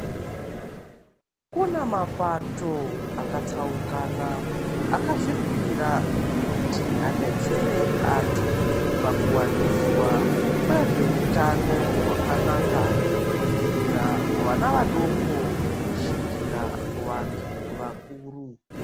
Kuna mapato akatsaukana akazvipira kuti adetsere antu pakuwaniswa kwezveutano hwakanaka kubvira kuvana vadoko kusvikira kuvantu vakuru.